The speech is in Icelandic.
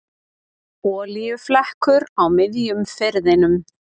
Olíuflekkur á miðjum firðinum